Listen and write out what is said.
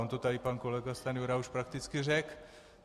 On to tady pan kolega Stanjura už prakticky řekl.